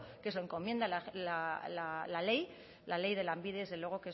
que se lo encomienda la ley la ley de lanbide que es desde luego